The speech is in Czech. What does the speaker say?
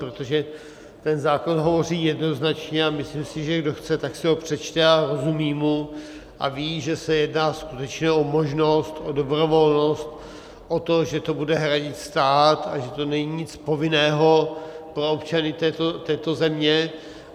Protože ten zákon hovoří jednoznačně a myslím si, že kdo chce, tak si ho přečte a rozumí mu a ví, že se jedná skutečně o možnost, o dobrovolnost, o to, že to bude hradit stát a že to není nic povinného pro občany této země.